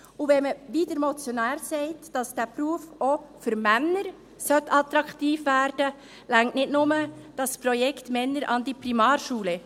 Und wenn, wie der Motionär sagt, dieser Beruf auch für Männer attraktiv werden sollte, reicht nicht nur das Projekt «Männer an die Primarschule».